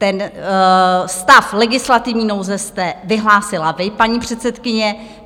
Ten stav legislativní nouze jste vyhlásila vy, paní předsedkyně.